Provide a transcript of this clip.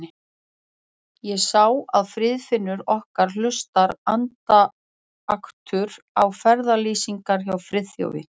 Ég sá að Friðfinnur okkar hlustar andaktugur á ferðalýsingarnar hjá Friðþjófi.